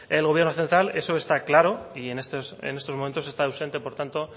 el gobierno central eso está claro y en estos momentos está ausente por tanto